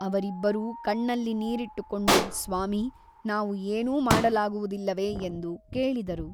ಅವರಿಬ್ಬರೂ ಕಣ್ಣಲ್ಲಿ ನೀರಿಟ್ಟುಕೊಂಡು ಸ್ವಾಮಿ ನಾವು ಏನೂ ಮಾಡಲಾಗುವುದಿಲ್ಲವೆ ಎಂದು ಕೇಳಿದರು.